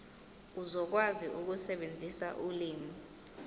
uzokwazi ukusebenzisa ulimi